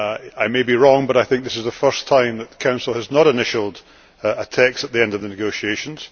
I may be wrong, but I think this is the first time that the Council has not initialled a text at the end of the negotiations.